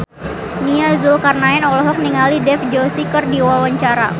Nia Zulkarnaen olohok ningali Dev Joshi keur diwawancara